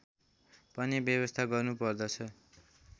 पनि व्यवस्था गर्नुपर्दछ